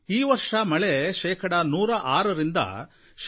ಈ ವರ್ಷ ಮಳೆ ಶೇಕಡಾ 106ರಿಂದ ಶೇ